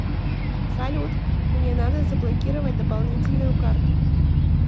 салют мне надо заблокировать дополнительную карту